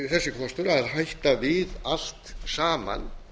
þessi kostur að hætta við allt saman